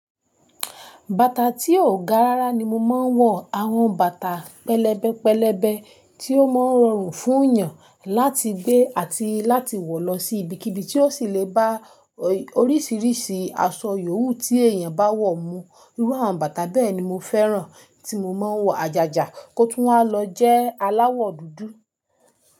Bàtà tí ó ga rárá ni mo máa ń wọ, àwọn bàtà pẹlẹbẹ pẹlẹbẹ tí ó máa ń rọrùn fún èèyàn láti gbé àti láti wọ lọ sí ibikíbi tí ó sì lè bá oríṣiríṣi aṣọ yòówù tí èèyàn bá wọ̀ mú. Irú àwọn bàtà bẹ́ẹ̀ ni mo fẹ́ràn tí mo máa ń wọ àjàjà kó tún máa lọ jẹ́ aláwọ̀ dúdú.